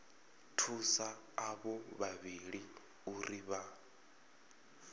thusa avho vhavhili uri vha